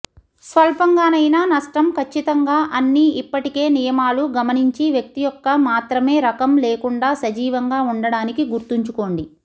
స్వల్పంగానైనా నష్టం ఖచ్చితంగా అన్ని ఇప్పటికే నియమాలు గమనించి వ్యక్తి యొక్క మాత్రమే రకం లేకుండా సజీవంగా ఉండడానికి గుర్తుంచుకోండి